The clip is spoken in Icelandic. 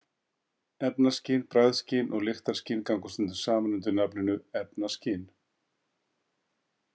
Efnaskyn Bragðskyn og lyktarskyn ganga stundum saman undir nafninu efnaskyn.